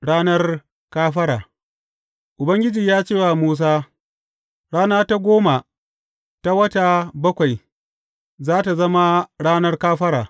Ranar kafara Ubangiji ya ce wa Musa, Rana ta goma ta wata bakwai, za tă zama Ranar Kafara.